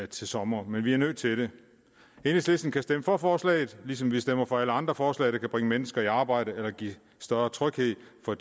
til sommer men vi er nødt til det enhedslisten kan stemme for forslaget ligesom vi stemmer for alle andre forslag der kan bringe mennesker i arbejde eller give større tryghed for